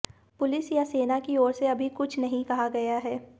police या सेना की ओर से अभी कुछ नहीं कहा गया है